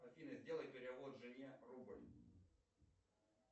афина сделай перевод жене рубль